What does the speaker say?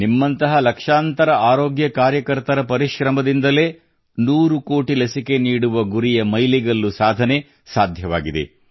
ನಿಮ್ಮಂತಹ ಲಕ್ಷಾಂತರ ಆರೋಗ್ಯ ಕಾರ್ಯಕರ್ತರ ಪರಿಶ್ರಮದಿಂದಲೇ ನೂರು ಕೋಟಿ ಲಸಿಕೆ ನೀಡುವ ಗುರಿಯ ಮೈಲಿಗಲ್ಲು ಸಾಧನೆ ಸಾಧ್ಯವಾಗಿದೆ